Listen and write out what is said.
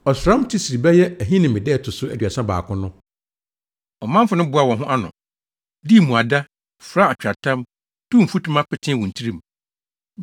Ɔsram Tisri (bɛyɛ Ahinime) da a ɛto so aduasa baako no, ɔmanfo no boaa wɔn ho ano, dii mmuada, furaa atweaatam, tuu mfutuma petee wɔn tirim.